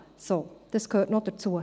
So, das gehörte noch dazu.